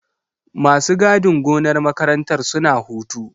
Masu gadin gonar makarantar suna hutu.